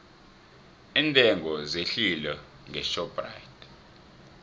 iintengo zehlile ngeshoprite